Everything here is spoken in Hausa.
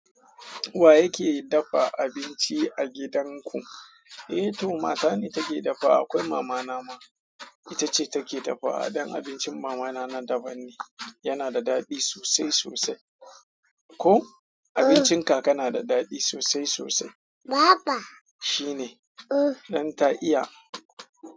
Wa yake dafa abinci a gidanku? Eh to mata ne take dafa. Akwai mamana ma ita ce take dafa. A don abincin mamana ma daban ne. Yana da daɗi sosai sosai. Ko abincin kaka na da daɗi sosai sosai. Shine, don ta iya.